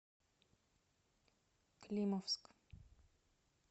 климовск